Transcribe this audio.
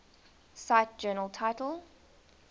cite journal title